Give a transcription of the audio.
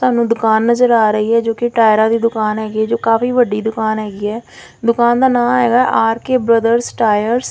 ਸਾਨੂੰ ਦੁਕਾਨ ਨਜ਼ਰ ਆ ਰਹੀ ਐ ਜੋ ਕਿ ਟਾਇਰਾਂ ਦੀ ਦੁਕਾਨ ਹੈਗੀ ਐ ਜੋ ਕਾਫੀ ਵੱਡੀ ਦੁਕਾਨ ਹੈਗੀ ਐਂ ਦੁਕਾਨ ਦਾ ਨਾਮ ਹੈਗਾ ਆਰ_ਕੇ ਬ੍ਰਦਰਜ਼ ਟਾਇਰਸ ।